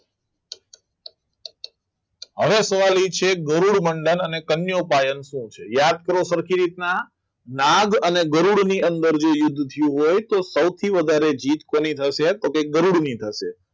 હવે સવાલ એ છે કે કરોડ મંડક અને કન્યા પાસે શું છે યાદ કરો સરખી રીતના નાગ અને ગરોળની અંદર જે યુગથી હોય તો સૌથી વધારે જીદ કોની થશે તો ગરુડની થશે